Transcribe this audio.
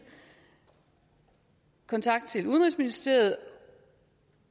kontakt til udenrigsministeriet